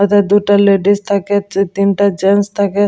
এথা দুটা লেডিস থাকে তি তিনটা জেন্টস থাকে।